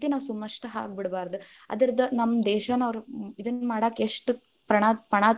ನಾವ್‌ ಸುಮ್‌ ಅಷ್ಟ ಹಾಗ್ ಬಿಡ್ಬಾರದ್‌ ಅದದ೯ ನಮ್ ದೇಶಾನ ಅವ್ರು ಇದನ್ನ ಮಾಡಾಕ್ ಎಷ್ಟ ಪ್ರಣ~ಪಣಾ.